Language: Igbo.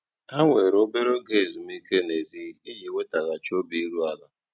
Há wèrè óbérè óge ézúmíkè nèzí íjì nwètaghachị́ óbì írú àlà.